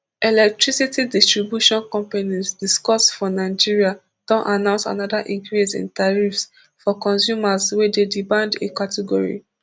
electricity distribution companies discos for nigeria don announce anoda increase in tariffs for consumers wey dey di band a category